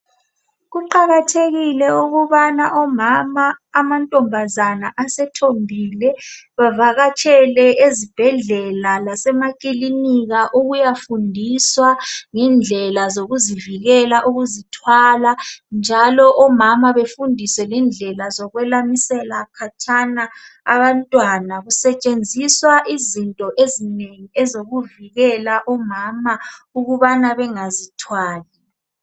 Kuqakathekile ukubana omama, amantombazana asethombile bavakatshele ezibhedlela lasemakilinika ukuyafundiswa ngendlela zokuzivikela ukuzithwala njalo omama befundiswe lendlela zokwelamisela khatshana abantwana kusetshenziswa izinto ezinengi ezokuvikela omama ukubana bengazithwali.